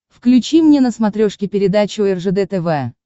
включи мне на смотрешке передачу ржд тв